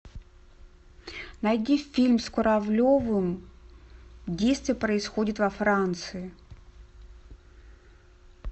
найди фильм с куравлевым действие происходит во франции